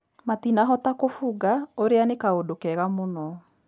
Matinahota kũbunga ũrĩa nĩ kaũndũ kega mũno